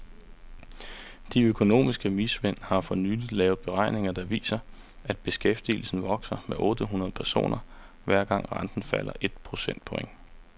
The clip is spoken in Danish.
De økonomiske vismænd har for nylig lavet beregninger der viser, at beskæftigelsen vokser med otte hundrede personer, hver gang renten falder et procent point.